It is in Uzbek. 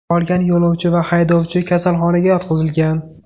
Qolgan yo‘lovchi va haydovchi kasalxonaga yotqizilgan.